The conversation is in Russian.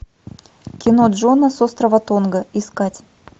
кино джона с острова тонга искать